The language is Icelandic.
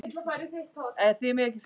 Þetta voru orðin okkar ömmu.